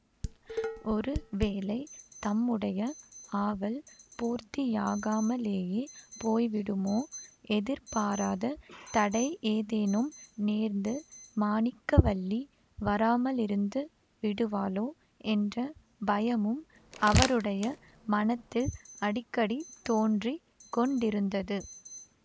ஒரு வேளை தம்முடைய ஆவல் பூர்த்தியாகாமலேயே போய்விடுமோ எதிர்பாராத தடை ஏதேனும் நேர்ந்து மாணிக்கவல்லி வராமலிருந்து விடுவாளோ என்ற பயமும் அவருடைய மனத்தில் அடிக்கடி தோன்றி கொண்டிருந்தது